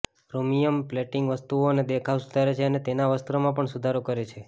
chromium plating વસ્તુઓનો દેખાવ સુધારે છે અને તેના વસ્ત્રોમાં પણ સુધારો કરે છે